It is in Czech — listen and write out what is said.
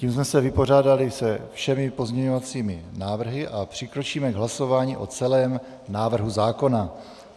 Tím jsme se vypořádali se všemi pozměňovacími návrhy a přikročíme k hlasování o celém návrhu zákona.